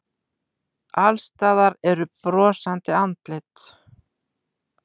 Alls staðar eru brosandi andlit.